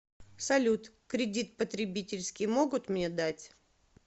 салют кридит потребительский могут мне дать